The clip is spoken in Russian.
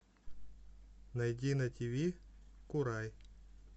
найди на тв курай